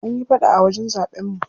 An yi faɗa a wajen zaɓen mu.